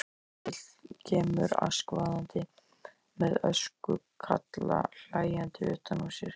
Öskubíll kemur askvaðandi með öskukalla hlæjandi utan á sér.